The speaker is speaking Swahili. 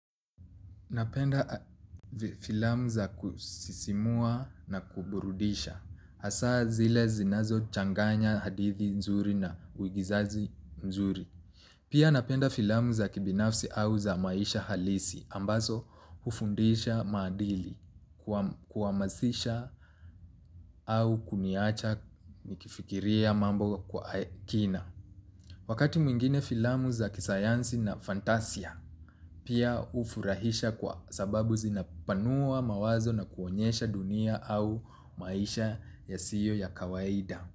Napenda filamu za kusisimua na kuburudisha, hasa zile zinazo changanya hadithi nzuri na uigizaji nzuri. Pia napenda filamu za kibinafsi au za maisha halisi, ambazo ufundisha maadili kuamasisha au kuniacha nikifikiria mambo kwa kina. Wakati mwingine filamu za kisayansi na fantasia pia ufurahisha kwa sababu zinapanua mawazo na kuonyesha dunia au maisha yasio ya kawaida.